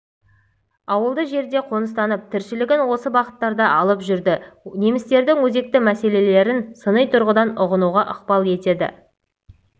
ауылды жерге қоныстанып тіршілігін осы бағыттарда алып жүрді немістердің өзекті мәселелерін сыни тұрғыдан ұғынуға ықпал етеді